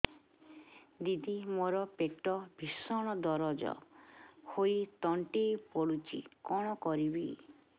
ଦିଦି ମୋର ପେଟ ଭୀଷଣ ଦରଜ ହୋଇ ତଣ୍ଟି ପୋଡୁଛି କଣ କରିବି